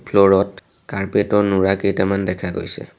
ফ্লৰ ত কাৰ্পেট ৰ নুৰা কেইটামান দেখা গৈছে।